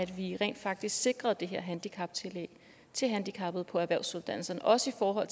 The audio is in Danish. vi rent faktisk sikrede det her handicaptillæg til handicappede på erhvervsuddannelserne også for at